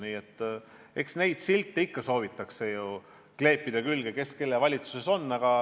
Aga eks silte ikka soovitakse ju külge kleepida: kes kelle valitsuses on.